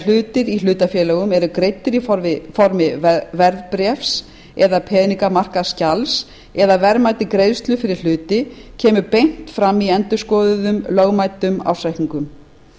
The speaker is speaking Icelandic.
hlutir í hlutafélögum eru greiddir í formi verðbréfs eða peningamarkaðsskjals eða verðmæti greiðslu fyrir hluti kemur beint fram í endurskoðuðum lögmæltum ársreikningum